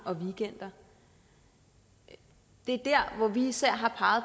og det er der hvor vi især har